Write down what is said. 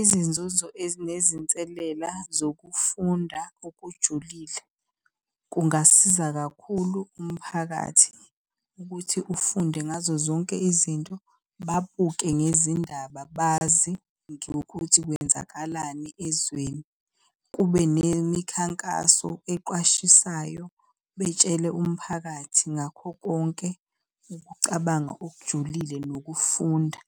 Izinzuzo ezinezinselela zokufunda okujulile. Kungasiza kakhulu umphakathi ukuthi ufunde ngazo zonke izinto, babuke ngezindaba bazi nokuthi kwenzakalani ezweni. Kube nemikhankaso eqwashisayo, betshele umphakathi ngakho konke ukucabanga okujulile nokufunda